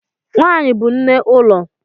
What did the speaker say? Nwanyi bu nne ulo.